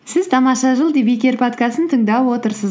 сіз тамаша жыл подкастын тыңдап отырсыз